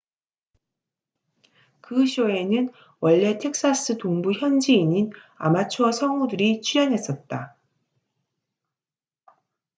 그 쇼에는 원래 텍사스 동부 현지인인 아마추어 성우들이 출연했었다